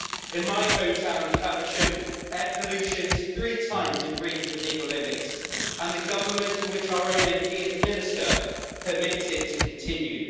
In my home town of Faversham, air pollution is three times in breach of legal limits, and the government in which our own MP is a minister permits it to continue.